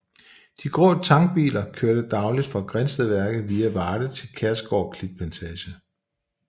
De grå tankbiler kørte dagligt fra Grindstedværket via Varde til Kærgård Klitplantage